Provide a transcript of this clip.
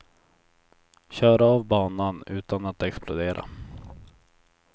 Kör av banan utan att explodera.